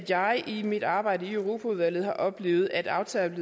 jeg i mit arbejde i europaudvalget har oplevet at aftaler